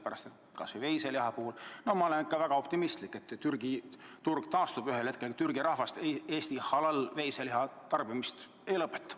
Kas või veiseliha puhul ma olen väga optimistlik, et Türgi turg taastub ühel hetkel, et Türgi rahvas Eesti halal-veiseliha tarbimist ei lõpeta.